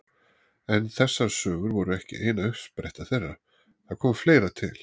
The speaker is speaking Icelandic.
En þessar sögur voru ekki eina uppsprettan þeirra, það kom fleira til.